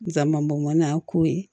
Dama bɔn n'a ko ye